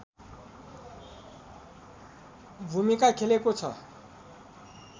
भूमिका खेलेको छ